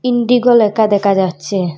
Indigo লেকা দেকা যাচ্চে।